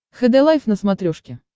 хд лайф на смотрешке